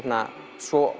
svo